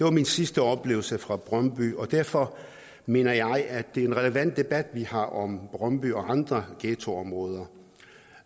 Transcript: er min sidste oplevelse fra brøndby og derfor mener jeg at det er en relevant debat vi har om brøndby og andre ghettoområder